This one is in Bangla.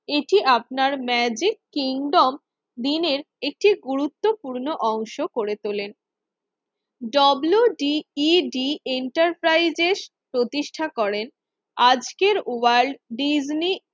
এটি আপনার ম্যাজিক কিংডম দিনের একটি গুরুত্বপূর্ণ অংশ করে। WDED এন্টারপ্রাইজের প্রতিষ্ঠা করে আজকের ওয়ার্ল্ড ডিজনি